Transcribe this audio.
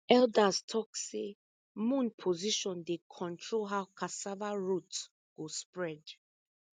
elders talk say moon position dey control how cassava root go spread